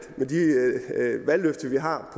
med de valgløfter vi har